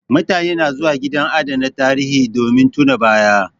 Mutane na zuwa gidan adana tarihi, domin tuna ba ya